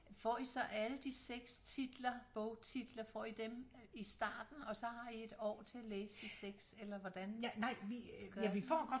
Får I så alle de 6 titler bogtitler får I dem i starten og så har I et år til at læse de 6 eller hvordan gør I?